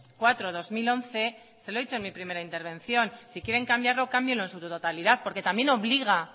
cuatro barra dos mil once se lo he dicho en mi primera intervención si quieren cambiarlo cámbienlo en su totalidad porque también obliga